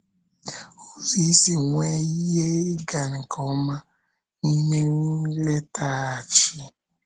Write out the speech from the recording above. Ụzọ Isi Nwee Ihe Ịga nke Ọma n’Ime Nletaghachi